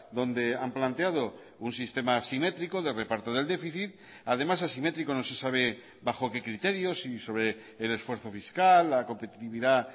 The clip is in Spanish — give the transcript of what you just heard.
donde han planteado un sistema asimétrico de reparto del déficit además asimétrico no se sabe bajo qué criterio si sobre el esfuerzo fiscal la competitividad